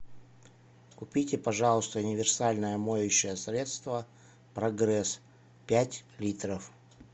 купите пожалуйста универсальное моющее средство прогресс пять литров